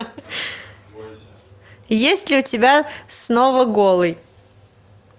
есть ли у тебя снова голый